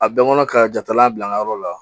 A bɛɛ kɔnɔ ka jatala bila n ka yɔrɔ la